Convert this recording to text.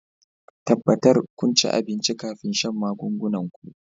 tabbatar kun ci abinci kafin shan magungunan ku